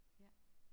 Ja